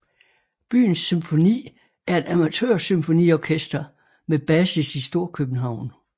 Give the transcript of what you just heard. Byens Symfoni er et amatørsymfoniorkester med basis i Storkøbenhavn